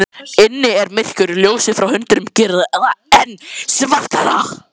Inni er myrkur, ljósið frá hundinum gerir það enn svartara.